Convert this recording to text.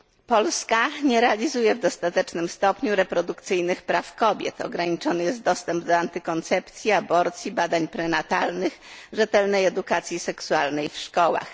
Polska nie realizuje w dostatecznym stopniu reprodukcyjnych praw kobiet, ograniczony jest dostęp do antykoncepcji, aborcji, badań prenatalnych, rzetelnej edukacji seksualnej w szkołach.